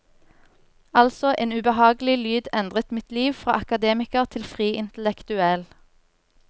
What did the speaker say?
Altså, en ubehagelig lyd endret mitt liv, fra akademiker til fri intellektuell.